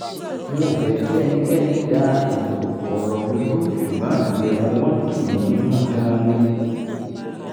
n ò kì í fẹ́ kí ẹnikẹ́ni dá ètò ọ̀rọ̀ mi rú ṣùgbọ́n ìbẹ̀wò wọn tù mí nínú gan-an ni